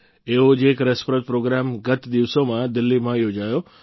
એવો જ એક રસપ્રદ પ્રોગ્રામ ગત દિવસોમાં દિલ્હીમાં યોજાયો